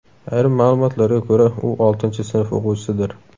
Ayrim ma’lumotlarga ko‘ra, u oltinchi sinf o‘quvchisidir.